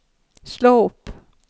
slå opp